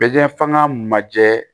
f'an ka majɛ